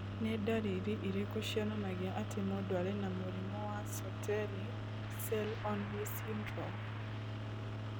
Nĩ ndariri irĩkũ cionanagia atĩ mũndũ arĩ na mũrimũ wa Sertoli cell only syndrome?